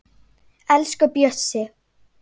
Elsku Bjössi.